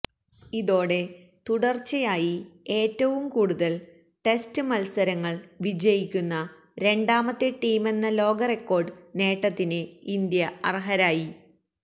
ഇതോടെ തുടർച്ചയായി ഏറ്റവും കൂടുതൽ ടെസ്റ്റ് മത്സരങ്ങൾ വിജയിക്കുന്ന രണ്ടാമത്തെ ടീമെന്ന ലോകറെക്കോർഡ് നേട്ടത്തിന് ഇന്ത്യ അർഹരായി